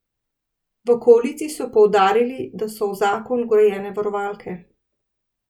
V koaliciji so poudarili, da so v zakon vgrajene varovalke.